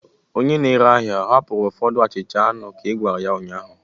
Onye na-ere ahịa ọ hapụrụ ụfọdụ achicha anu ka ị gwara ya ụnyahụ?